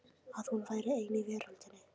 Að hún væri ein í veröldinni.